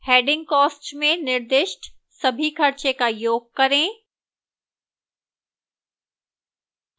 heading cost में निर्दिष्ट सभी खर्चे का योग करें